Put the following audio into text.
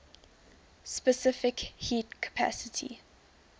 specific heat capacity